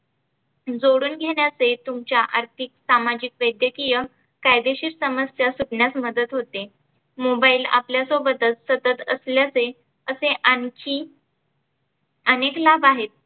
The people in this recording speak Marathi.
जोडुन घेण्याचे तुमचे अर्थीक सामाजीक वैद्यकीय कायदेशीर समस्या सोडण्यास मदत होते. mobile आपल्या सोबतच सतत असल्याचे असे आणखी आनेक लाभ आहेत.